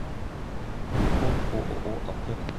телефон ооо аптека